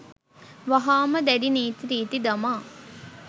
වහාම දැඩි නීති රීති දමා